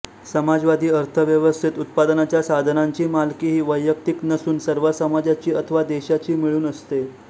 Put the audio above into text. समाजवादी अर्थव्यवस्थेत उत्पादनाच्या साधनांची मालकी ही वैयक्तिक नसून सर्व समाजाची अथवा देशाची मिळून असते